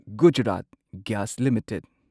Gujarat Gas limited